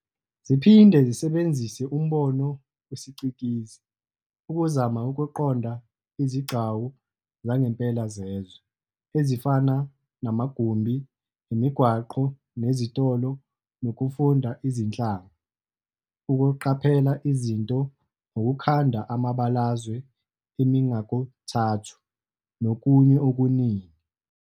Ziphinde zisebenzise umbono wesicikizi ukuzama ukuqonda izigcawu zangempela zezwe, ezifana namagumbi, imigwaqo nezitolo, nokufunda izinhlanga, ukuqaphela Izinto, ukukhanda amabalazwe emingakothathu nokunye okuningi.